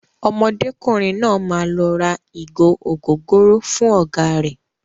Ọmọdékùnrin náà máa lọ ra ìgò ògóróró fún ọ̀gá rẹ̀.